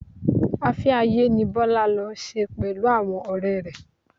Afẹ́-ayé ni Bọlá lọ ṣe pẹ̀lú àwọn ọrẹ rẹ.